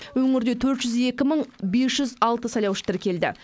өңірде төрт жүз екі мың бес жүз алты сайлаушы тіркелді